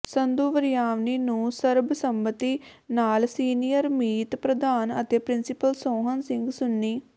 ਸੰਧੂ ਵਰਿਆਣਵੀਂ ਨੂੰ ਸਰਬਸੰਮਤੀ ਨਾਲ ਸੀਨੀਅਰ ਮੀਤ ਪ੍ਰਧਾਨ ਅਤੇ ਪਿ੍ੰਸੀਪਲ ਸੋਹਣ ਸਿੰਘ ਸੂੰਨੀ